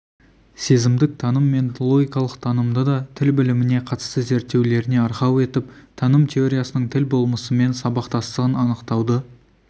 сезімдік таным мен логикалық танымды да тіл біліміне қатысты зерттеулеріне арқау етіп таным теориясының тіл болмысымен сабақтастығын анықтауды